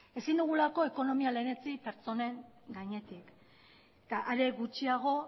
ezin dugulako ekonomia lehenetsi pertsonen gainetik eta are gutxiago